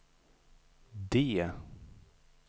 D